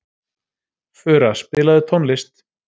Fura, spilaðu tónlist.